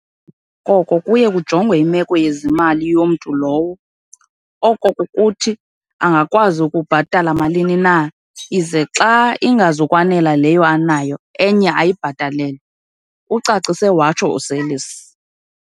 Emva koko kuye kujongwe imeko yezimali yomntu lowo, okokukuthi, angakwazi ukubhatala malini na, ize xa ingazukwanela leyo anayo, enye ayibhatalelwe," ucacise watsho uSeirlis.